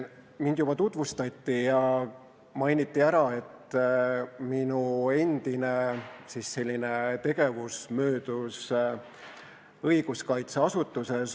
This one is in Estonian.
Mind juba tutvustati ja mainiti ära, et minu endine tegevus möödus õiguskaitseasutuses.